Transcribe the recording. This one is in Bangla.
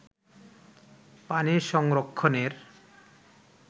পানি সংরক্ষণের